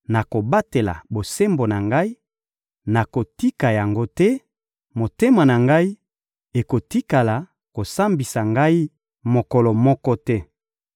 nakobatela bosembo na ngai, nakotika yango te; motema na ngai ekotikala kosambisa ngai mokolo moko te.